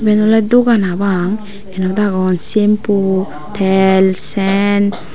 iben oley dogan hapang yenot agon tel sen.